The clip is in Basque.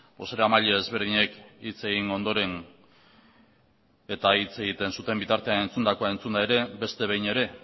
bozeramaile ezberdinek hitz egin ondoren eta hitz egiten zuten bitartean entzundakoa entzunda ere beste behin ere